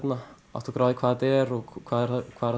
átta okkur á því hvað þetta er og hvað er það